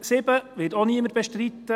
Punkt 7 wird auch niemand bestreiten.